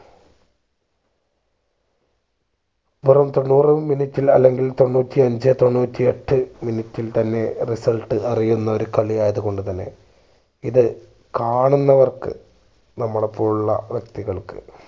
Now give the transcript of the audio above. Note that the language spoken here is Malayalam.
വെറും തൊണ്ണൂറ് minute ൽ അല്ലെങ്കിൽ തൊണ്ണൂറ്റി അഞ്ചേ തൊണ്ണൂറ്റി എട്ട് minute ൽ തന്നെ result അറിയുന്ന ഒരു കളി യായത്കൊണ്ട് തന്നെ ഇത് കാണുന്നവർക്ക് നമ്മളെ പോലുള്ള വ്യക്തികൾക്ക്